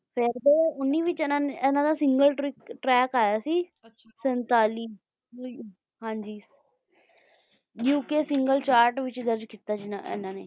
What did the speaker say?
ਤੇ ਮਤਲਬ ਉੱਨੀਵੀਂ ਵਿੱਚ ਇਨ੍ਹਾਂ ਦਾ single track ਆਇਆ ਸੀ ਸੰਤਾਲੀ ਕੁਲ ਹਾਂ ਜੀ ਯੂ ਕੇ single chart ਵਿੱਚ launch ਕੀਤਾ ਸੀ ਇਨ੍ਹਾਂ ਨੇ